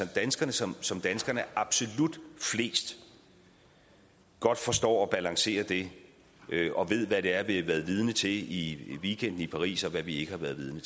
danskerne som som danskerne er absolut flest godt forstår at balancere det og ved hvad det er vi har været vidne til i weekenden i paris og hvad vi ikke har været vidne